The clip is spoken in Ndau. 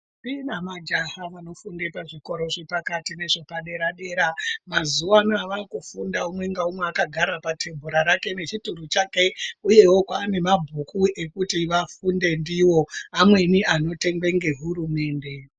Ndombi nemajaha vanofunde pazvikora zvepakati nezvepadera dera mazuwa anaa vakufunda umwe naumwe akagara patebhura rake nechituro chake uyewo kwaane mabhuku ekuti vafunde ndiwo. Amweni anotengwa ngehurumende.